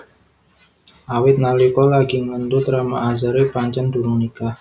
Awit nalika lagi ngandhut Rahma Azhari pancén durung nikah